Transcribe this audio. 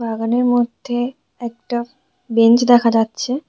বাগানের মধ্যে একটা বেঞ্চ দেখা যাচ্ছে।